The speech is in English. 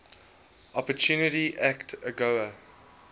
opportunity act agoa